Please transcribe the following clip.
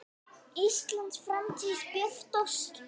Íslands framtíð björt og slétt.